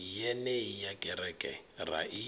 yenei ya kereke ra i